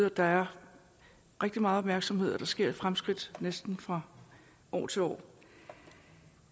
og der er rigtig meget opmærksomhed og der sker fremskridt næsten fra år til år